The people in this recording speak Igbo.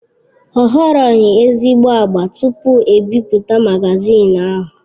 Ọ họrọghi ezigbo agba tupu e bipụta magazin ahụ.